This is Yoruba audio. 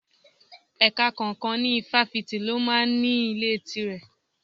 Ẹ̀ka kọ̀ọ̀kan ní Ifáfìti ló máa ń ní ilé tire.